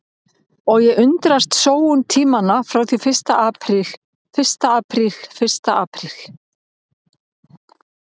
Og ég undrast sóun tímanna frá því fyrsta apríl fyrsta apríl fyrsta apríl.